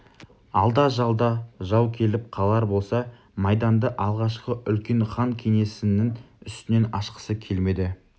алда-жалда жау келіп қалар болса майданды алғашқы үлкен хан кеңесінің үстінен ашқысы келмеді